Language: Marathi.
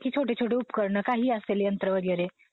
छोटे छोटे उपकरणं काही असेल यंत्र वगैरे